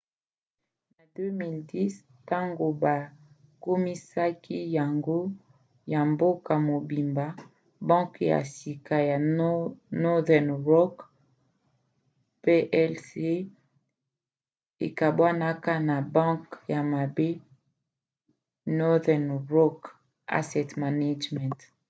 na 2010 ntango bakomisaki yango ya mboka mobimba banke ya sika ya northern rock plc ekabwanaka na 'banke ya mabe' northern rock asset management